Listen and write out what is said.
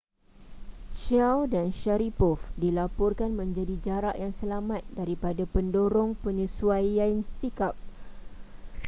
chiao dan sharipov dilaporkan menjadi jarak yang selamat daripada pendorong penyesuaian sikap